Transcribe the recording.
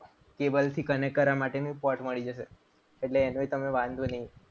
cable connect કરવા માટેનું port મળી જશે. એટલે એનોય તમને વાંધો નહીં.